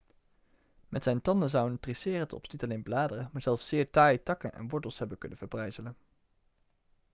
met zijn tanden zou een triceratops niet alleen bladeren maar zelfs zeer taaie takken en wortels hebben kunnen verbrijzelen